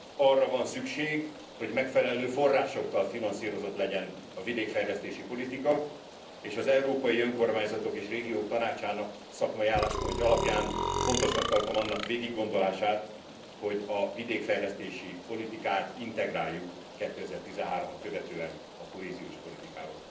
Arra van szükség, hogy megfelelő forrásokkal finanszírozott legyen a vidékfejlesztési politika, és az európai önkormányzatok és régiók tanácsának szakmai álláspontja alapján fontosnak tartom annak végiggondolását, hogy a vidékfejlesztési politikát integráljuk 2013 at követően a kohéziós politikába.